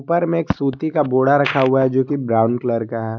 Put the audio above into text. ऊपर में एक सूती का बोडा रखा हुआ है जो कि ब्राउन कलर का है।